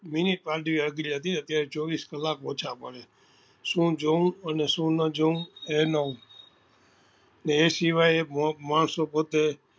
minute અત્યારે ચોવીસ કલાક ઓછા પડે શું જોવું અને શું નાં જોવું એમાં એ સિવાય માણસો પોત્તે